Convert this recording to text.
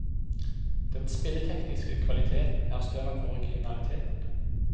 Den spilletekniske kvaliteten er større enn originaliteten.